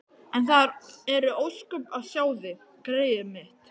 En það eru ósköp að sjá þig, greyið mitt.